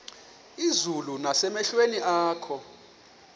izulu nasemehlweni akho